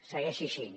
segueixi així